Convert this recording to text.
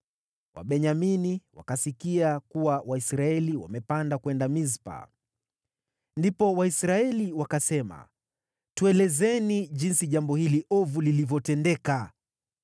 (Wabenyamini wakasikia kuwa Waisraeli wamepanda kwenda Mispa.) Ndipo Waisraeli wakasema, “Tuelezeni jinsi jambo hili ovu lilivyotendeka.”